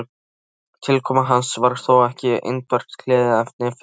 Tilkoma hans var þó ekki einbert gleðiefni fyrir